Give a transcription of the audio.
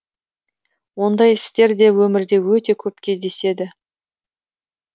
ондай істер де өмірде өте көп кездеседі